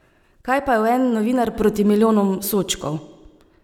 Kaj pa je en novinar proti milijonom sodčkov!